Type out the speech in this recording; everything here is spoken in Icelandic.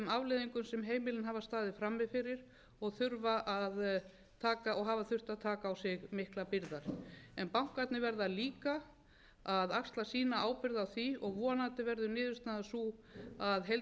afleiðingum sem heimilin hafa staðið frammi fyrir og þurfa að taka og hafa þurft að taka á sig miklar byrðar en bankarnir verða líka að axla sína ábyrgð á því og vonandi verður niðurstaðan sú að heildarhagsmunum